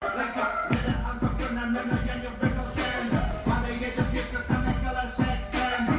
ах